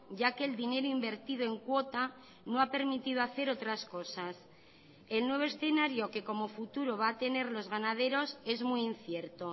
ya que el dinero invertido en cuota no ha permitido hacer otras cosas el nuevo escenario que como futuro va a tener los ganaderos es muy incierto